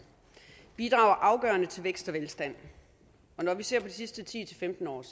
bidrager afgørende til vækst og velstand når vi ser på de sidste ti til femten år er